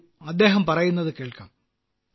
വരൂ അയാൾ പറയുന്നത് കേൾക്കാം